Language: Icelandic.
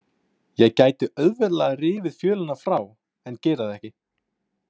Ég gæti auðveldlega rifið fjölina frá en geri það ekki.